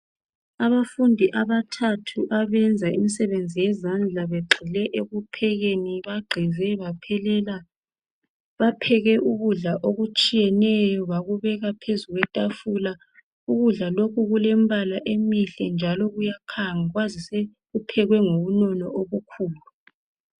Abafundi abathathu abenza imisebenzi yezandla begxile ekuphekeni bagqize baphelela Bapheke ukudla okutshiyeneyo bakubeka phezu kwetafula Ukudla lokhu kulembala emihle njalo kuyakhanga kwazise kuphekwe ngobunono obukhulu